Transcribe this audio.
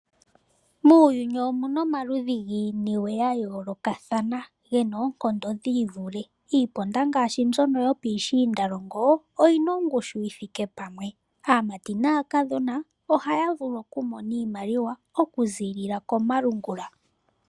Muuyuni omuna omaludhi giiniwe ya yoolokathana yina oonkondo dhi ivule. Iiponda ngaashi mbyono yopiishiindalongo oyina ongushu yithike pamwe. Aamati naakadhona ohaya vulu okumona iimaliwa okuziilila komalungula.